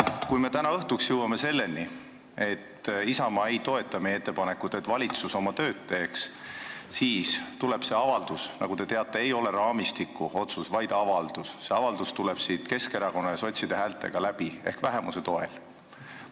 Kui me täna õhtuks jõuame selleni, et Isamaa ei toeta meie ettepanekut, et valitsus oma tööd teeks, siis läheb see avaldus läbi – see, nagu te teate, ei ole otsus raamistiku kohta, vaid avaldus – Keskerakonna ja sotside häältega ehk vähemuse toel.